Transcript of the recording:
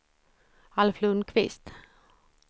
Alf Lundquist